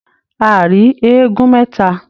A rí eégún mẹta.